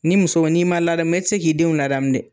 Ni muso n'i ma ladamu e ti se k'i denw ladamu dɛ.